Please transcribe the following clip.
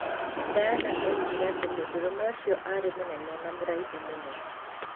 Diana oigire atĩ mũndũrũme ũcio aarĩ mũnene na mũraihu mũno.